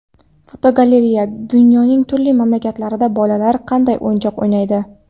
Fotogalereya: Dunyoning turli mamlakatlarida bolalar qanday o‘yinchoq o‘ynaydi.